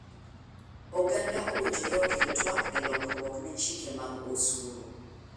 Oganda owinjore okel twak e lokruok ne chike mag osuru.